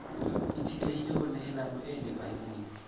itshetlehile ho nehelano e nepahetseng